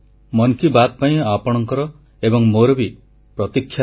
• ଶ୍ରୀହରିକୋଟାରୁ ଚନ୍ଦ୍ରପୃଷ୍ଠରେ ଚନ୍ଦ୍ରଯାନ ଅବତରଣ କରିବା ଦୃଶ୍ୟ ଦେଖିବେ କୃତୀ ଛାତ୍ରଛାତ୍ରୀ